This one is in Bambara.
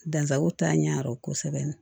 Dansako t'a ɲɛ yɔrɔ kosɛbɛ